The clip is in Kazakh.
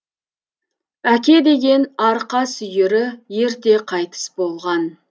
әке деген арқа сүйері ерте қайтыс болған